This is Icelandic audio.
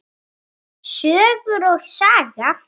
Söngur og saga.